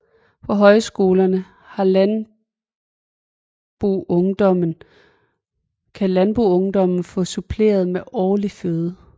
På højskolerne kan landboungdommen få suppleret med åndelig føde